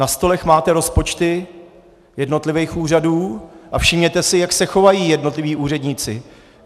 Na stolech máte rozpočty jednotlivých úřadů a všimněte si, jak se chovají jednotliví úředníci.